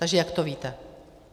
Takže jak to víte?